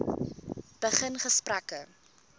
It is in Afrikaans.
begin gesprekke